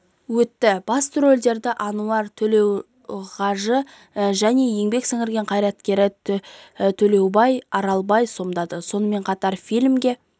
өтті басты рөлдерді ануар толеугажы және еңбек сіңірген қайраткері төлеубек аралбай сомдады сонымен қатар фильмге